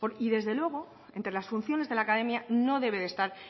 y desde luego entre las funciones de la academia no debe de estar